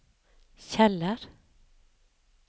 Kjeller